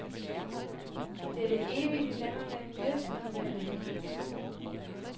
Det er det evige dilemma mellem lyst og nødvendighed.